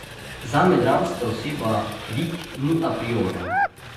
Zame dramska oseba, lik ni aprioren.